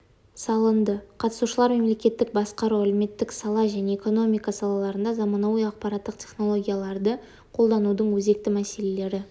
салынды қатысушылар мемлекеттік басқару әлеуметтік сала және экономика салалаларында заманауи ақпараттық технологияларды қолданудың өзекті мәселелері